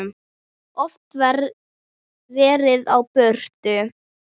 Oft verið á burtu.